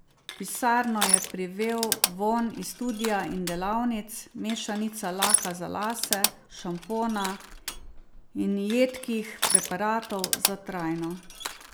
V pisarno je privel vonj iz studia in delavnic, mešanica laka za lase, šampona in jedkih preparatov za trajno.